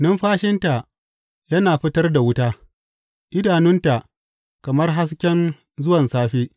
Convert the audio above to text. Numfashinta yana fitar da wuta; idanunta kamar hasken zuwan safe.